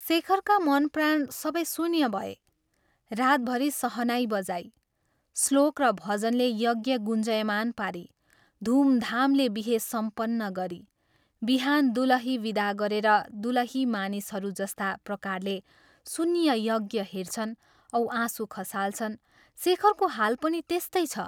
शेखरका मन प्राण सबै शून्य भए रातभरि सहनाई बजाई, श्लोक र भजनले यज्ञ गुञ्जायमान पारी, धूमधामले बिहे सम्पन्न गरी, बिहान दुलही विदा गरेर दुलही मानिसहरू जस्ता प्रकारले शून्य यज्ञ हेर्छन् औ आँसु खसाल्छन्, शेखरको हाल पनि त्यस्तै छ।